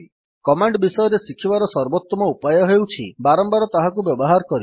command ବିଷୟରେ ଶିଖିବାର ସର୍ବୋତ୍ତମ ଉପାୟ ହେଉଛି ବାରମ୍ବାର ତାହାକୁ ବ୍ୟବହାର କରିବା